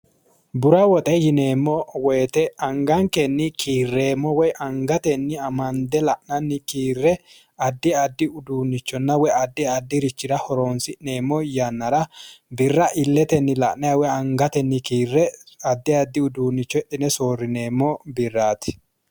Bura woxe yineemmo woyiite angankenni kiirremmo woyi angankenni amande la'nanni kiire addi addi uduunnicho hidhine soorrineemmo birraati.